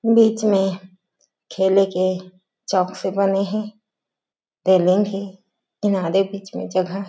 बीच में खेले के चौकसे बने हे हे किनारे बीच में जगह हे।